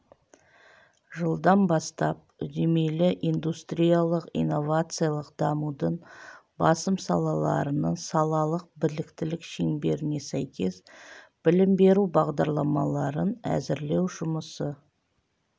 жылдан бастап үдемелі индустриялық-инновациялық дамудың басым салаларының салалық біліктілік шеңберіне сәйкес білім беру бағдарламаларын әзірлеу жұмысы